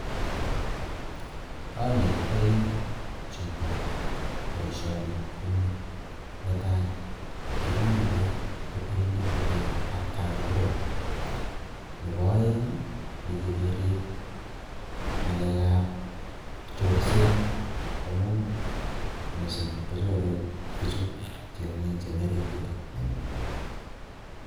Anetitoi chito boisioni kouni. Netai, kiribey kotilitu beek atkaan tugul. Nebo aeng', mecheiy kerib ng'alekab chorset amuu misssing kochore bichu tiongik chemii orit yutok.